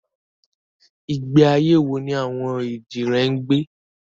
Ìgbé ayé wo ni àwọn èjìrẹ́ ń gbé?